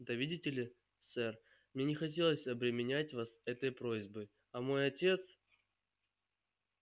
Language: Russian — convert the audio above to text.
да видите ли сэр мне не хотелось обременять вас этой просьбой а мой отец